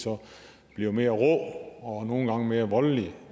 bliver de mere rå og nogle gange mere voldelige